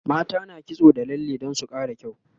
mata na kitso da lalle Dan su Kara kyau